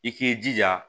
I k'i jija